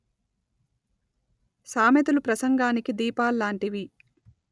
సామెతలు ప్రసంగానికి దీపాల్లాంటివి